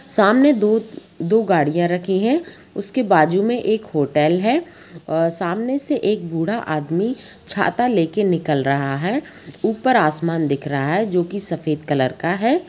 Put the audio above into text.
सामने दो दो गाड़ियां रखी है उसके बाजू में एक होटल और सामने से एक बूढ़ा आदमी छाता ले के निकल रहा है ऊपर आसमान दिख रहा है जोकी सफेद कलर का है।